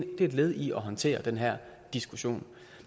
et led i at håndtere den her diskussion